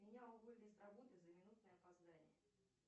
меня уволили с работы за минутное опоздание